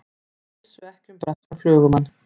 Vissu ekki um breskan flugumann